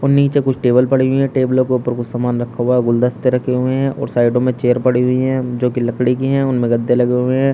और नीचे कुछ टेबल पड़ी हुई हैं टेबलों के ऊपर कुछ सामान रखा हुआ हैं गुलदस्ते रखे हुए हैं और साइडो में चेयर पड़ी हुई है जो कि लकड़ी की है उनमें गद्दे लगे हुए हैं।